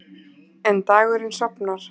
En dagurinn sofnar.